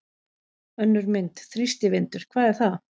Önnur mynd: Þrýstivindur- hvað er það?